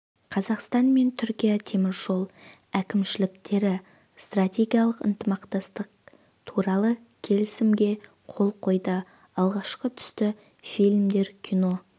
қазақстан мен түркия темір жол әкімшіліктері стратегиялық ынтымақтастық туралы келісімге қол қойды алғашқы түсті фильмдер кино